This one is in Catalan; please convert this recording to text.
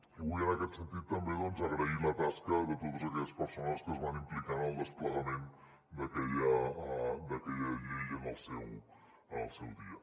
i vull en aquest sentit també agrair la tasca de totes aquelles persones que es van implicar en el desplegament d’aquella llei en el seu dia